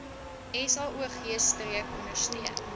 saog streek ondersteun